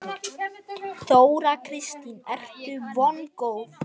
Þóra Kristín: Ertu vongóð?